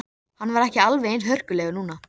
Hann var ekki alveg eins hörkulegur núna.